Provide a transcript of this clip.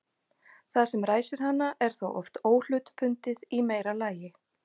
það sem ræsir hana er þá oft óhlutbundið í meira lagi